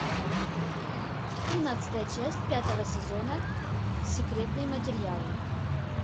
тринадцатая часть пятого сезона секретные материалы